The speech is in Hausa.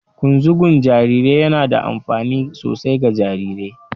Ƙunzugun jarirai yana da amfani sosai ga jarirai